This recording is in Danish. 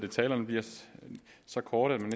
talerne bliver så korte at man